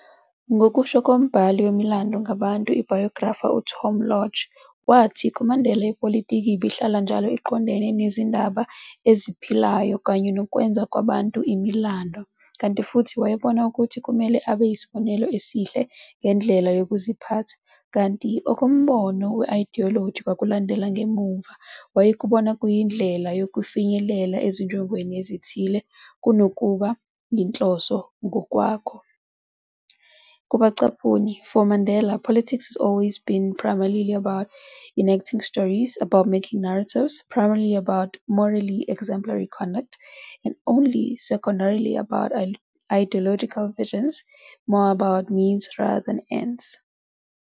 Ngokusho kombhali wemilando ngabantu, ibhayografa, uTom Lodge, wathi, kuMandela ipolitiki ibihlala njalo iqondene nezindaba eziphilayo kanye nokwenza kwabantu imilando, kanti futhi wayebona ukuthi kumele abe yisibonelo esihle ngendlela yokuziphatha, kanti okombono we-idiyoloji kwakulandela ngemuva, wayekubona kuyindlela yokufinyelela ezinjongweni ezithile, kunokuba yinhloso ngokwakho, "for Mandela, politics has always been primarily about enacting stories, about making narratives, primarily about morally exemplary conduct, and only secondarily about ideological vision, more about means rather than ends"."